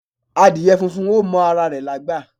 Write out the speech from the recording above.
Adìyẹ funfun ò mọ ara rẹ̀ lágbà.